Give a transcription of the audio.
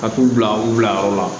Ka t'u bila u bilayɔrɔ la